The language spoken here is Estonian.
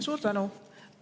Suur tänu!